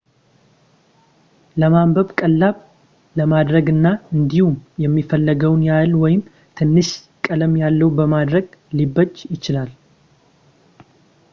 ለማንበብ ቀላል ለማድረግ እና እንዲሁም የሚፈለገውን ያህል ወይም ትንሽ ቀለም ያለው ለማድረግ ሊበጅ ይችላል